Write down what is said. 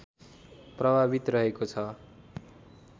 प्रभावित रहेको छ